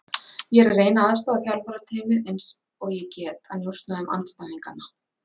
Ég er að reyna að aðstoða þjálfarateymið eins og ég get að njósna um andstæðinganna.